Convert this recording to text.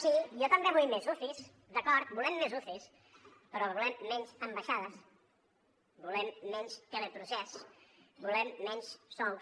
sí jo també vull més ucis d’acord volem més ucis però volem menys ambaixades volem menys teleprocés volem menys sous